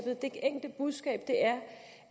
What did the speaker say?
er det enkle budskab er